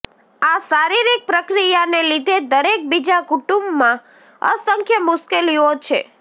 આ શારીરિક પ્રક્રિયાને લીધે દરેક બીજા કુટુંબમાં અસંખ્ય મુશ્કેલીઓ છે